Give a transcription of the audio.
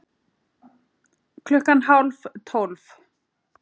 Klukkan hálf tólf